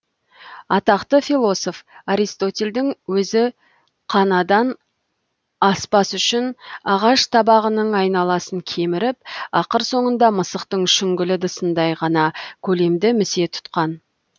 атақты философ аристотельдің өзі қанадан аспас үшін ағаш табағының айналасын кеміріп ақыр соңында мысықтың шүңгіл ыдысындай ғана көлемді місе тұтқан